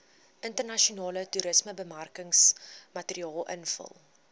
internasionale toerismebemarkingsmateriaal invul